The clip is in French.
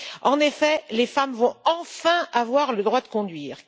En effet, les femmes vont enfin avoir le droit de conduire.